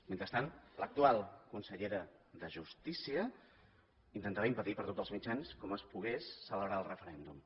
mentrestant l’actual consellera de justícia intentava impedir per tots els mitjans com es pogués celebrar el referèndum